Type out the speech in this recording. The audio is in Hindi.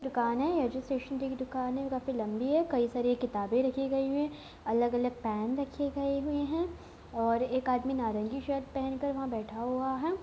दुकान है यह स्टैशनेरी की दुकान है जो काफी लंबी है कई सारी कितबे रखी गई हुई है अलग अलग पेन रखी हुई है और एक आदमी नारंगी शर्ट पहन कर वहा बैठा हुआ है।